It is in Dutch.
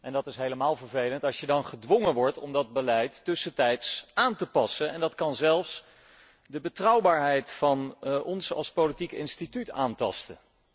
Het is vervelend als je dan gedwongen wordt om dat beleid tussentijds aan te passen en dat kan zelfs de betrouwbaarheid van ons als politiek instituut aantasten.